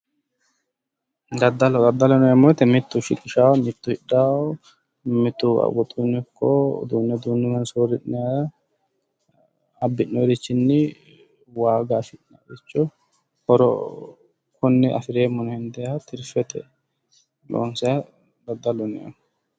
Daddalo. Daddaloho yineemmo woyite mittu shiqishawo mitu hidhawo mitu woxuyino ikko uduunne uduunnuyiwa soorri'nayi abbi'noyirichinni waaga afi'natiricho horo afi'neemmo yine hendayiricho tirfete loonsayiha daddaloho yineemmo